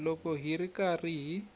loko hi ri karhi hi